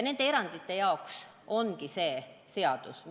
Nende erandite jaoks see seadus ongi.